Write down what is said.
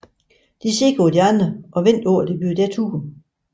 De ser på de andre og venter på at det bliver deres tur